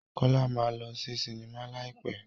Kọ́lá máa lọ sí sinimá láì pẹ́.